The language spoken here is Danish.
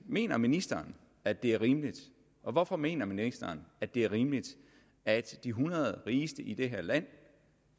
mener ministeren at det er rimeligt og hvorfor mener ministeren at det er rimeligt at de hundrede rigeste i det her land